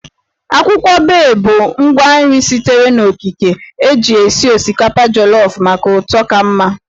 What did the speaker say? Akwụkwọ Bay bụ ngwa nri sitere n'okike eji esi osikapa jolofụ maka ụtọ ka mma